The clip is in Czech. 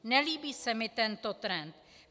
Nelíbí se mi tento trend.